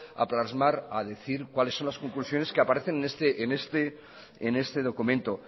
a decir cuáles son las conclusiones que aparecen en este documento